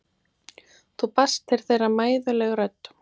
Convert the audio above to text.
Þá barst til þeirra mæðuleg rödd